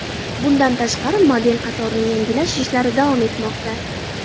Bundan tashqari, model qatorini yangilash ishlari davom etmoqda.